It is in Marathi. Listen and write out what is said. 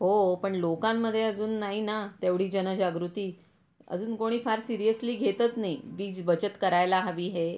हो पण लोकांमध्ये अजून नाही ना तेवढी जनजागृती, अजून कोणी फार सीरियसली घेतच नाही वीज बचत करायला हवी हे.